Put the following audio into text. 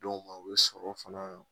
Dɔw ma u bɛ sɔrɔ fana